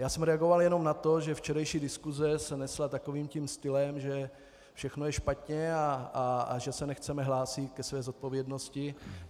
Já jsem reagoval jenom na to, že včerejší diskuse se nesla takovým tím stylem, že všechno je špatně a že se nechceme hlásit ke své zodpovědnosti.